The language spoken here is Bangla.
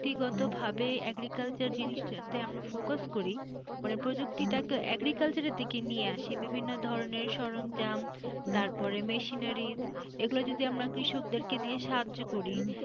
প্রযুক্তি গতভাবে agriculture জিনিসটাতে আমরা focus করি মানে প্রযুক্তি টা তো agriculture এর দিকে নিয়ে আসে বিভিন্ন ধরনের সরঞ্জাম তারপর machineries এগুলো যদি আমরা কৃষকদেরকে দিয়ে সাহায্য করি,